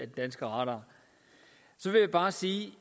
danske radar så jeg vil bare sige